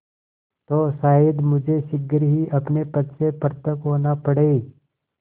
तो शायद मुझे शीघ्र ही अपने पद से पृथक होना पड़े